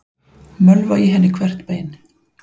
Mölva í henni hvert bein.